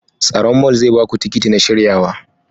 Tsaron mall zai ba ku tikitin na shiryawa.